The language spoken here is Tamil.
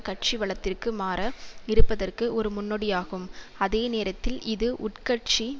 கட்சி வலதிற்கு மாற இருப்பதற்கு ஒரு முன்னோடியாகும் அதே நேரத்தில் இது உட்கட்சி